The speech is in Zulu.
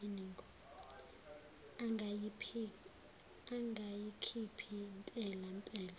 angayikhiphi mpela mpela